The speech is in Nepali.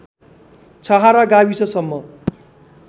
छहरा गाविससम्म